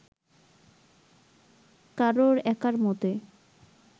কারোর একার মতে